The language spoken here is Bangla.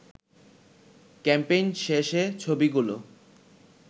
ক্যাম্পেইন শেষে ছবিগুলো